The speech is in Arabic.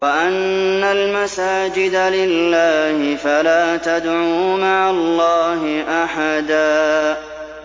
وَأَنَّ الْمَسَاجِدَ لِلَّهِ فَلَا تَدْعُوا مَعَ اللَّهِ أَحَدًا